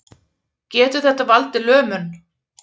Getur þetta valdið lömun